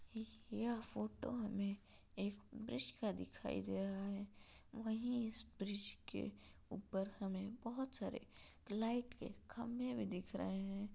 यह फोटो में एक ब्रिज का दिखायी दे रहा है वही इस ब्रिज के ऊपर हमें बहुत सारे लाइट के खम्बे भी दिख रहे हैं।